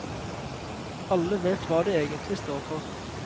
Alle vet hva de egentlig står for.